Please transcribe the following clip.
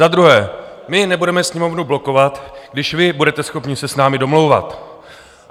Za druhé, my nebudeme Sněmovnu blokovat, když vy budete schopni se s námi domlouvat.